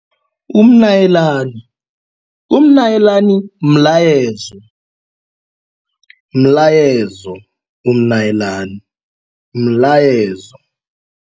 Umnayilani, umnyalinani mlayezo, mlayezo umnyalinani mlayezo.